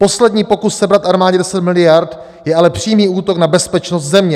Poslední pokus sebrat armádě deset miliard je ale přímý útok na bezpečnost země."